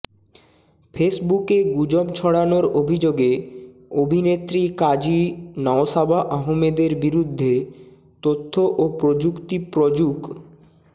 ফেসবুকে গুজব ছড়ানোর অভিযোগে অভিনেত্রী কাজী নওশাবা আহমেদের বিরুদ্ধে তথ্য ও প্রযুক্তি প্রযুক্